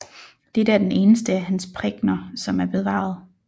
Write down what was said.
Dette er den eneste af hans prækener som er bevaret